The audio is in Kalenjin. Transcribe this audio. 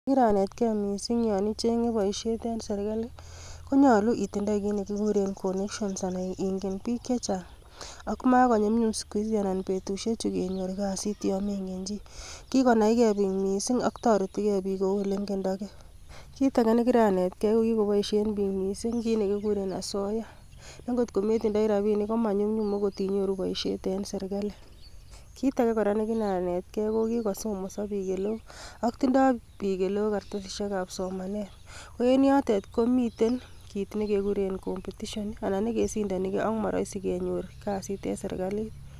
Kiranetgei missing you ichengee boishiet en serkalii, konyoolu itindoi kit nekikuur en connections anan ingen bik chechang. Ako makonyumnyum sikuhisi anan betusiechu kenyoor kasit yon mengen chii. Kikonaigei biik missing ak toretigei bik koulengendokei. Kitagr nekiranetgei ko kikoboishien bik missing kit nekikuuren asoyaa, nengot kometindoi rabinik komanyumnyum okot inyooru boishiet en serkali. Kitage kora nekiranetgei ko kikosomoso bik eleo, ak tindo eleo kartasisiek ab somanet, koen yotet komiten kit nekekuuren competitions nekesindonigei ak moroisi kenyoor kasit en serkalit.